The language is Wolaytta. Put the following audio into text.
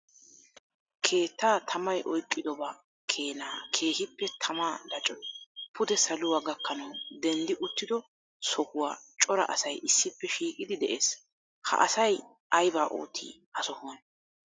keettaa tammay oyqqidoba keena keehippe tama laccoy pude saluwa gakkanaw denddi uttido sohuwa cora asay issippe shiiqidi de'ees. ha asay aybba ootti ha sohuwan?